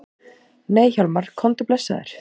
Nei Hjálmar, komdu blessaður!